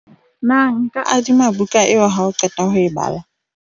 na nka adima buka eo ha o qeta ho e bala?